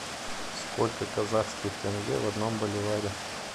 сколько казахских тенге в одном боливаре